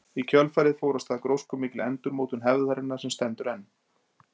Í kjölfarið fór af stað gróskumikil endurmótun hefðarinnar sem stendur enn.